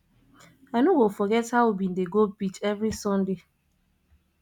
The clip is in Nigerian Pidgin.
i no go forget how we bin dey go beach every sunday